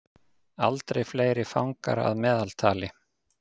Aldrei fleiri fangar að meðaltali